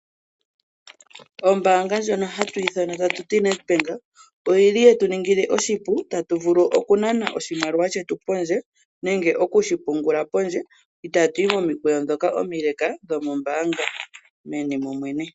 Ombaanga yoNedbank oya niingila aayakulwa yawo oshipu, sho ye eta po omashina gokunana nokupungula iimaliwa pondje yombaanga. Ngashingeyi aayakulwa inaya pumbwa we okukaya momikweyo omileeleka meni lyombaanga opo ya mone omayakulo.